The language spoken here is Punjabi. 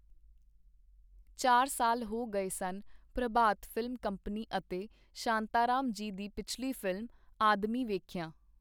ਚਾਰ ਸਾਲ ਹੋ ਗਏ ਸਨ ਪ੍ਰਭਾਤ ਫ਼ਿਲਮ ਕੰਪਨੀ ਅਤੇ ਸ਼ਾਂਤਾਰਾਮ ਜੀ ਦੀ ਪਿਛਲੀ ਫ਼ਿਲਮ, ਆਦਮੀ ਵੇਖਿਆਂ.